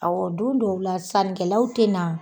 Awɔ don dɔw la sannikɛlaw tɛ na.